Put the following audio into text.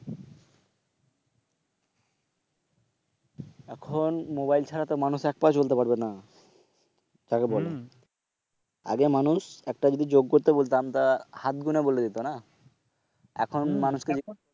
এখন mobile ছাড়াতো মানুষ এক পাও চলতে পারবে না যাকে বলে, আগে মানুষ একটা যদি যোগ করতে বলতাম তা হাত গুনে বলে দিত না, এখন মানুষকে